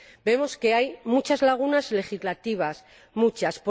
Vemos que hay muchas lagunas legislativas, muchas